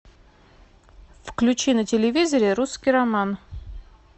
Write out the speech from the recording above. включи на телевизоре русский роман